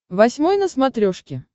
восьмой на смотрешке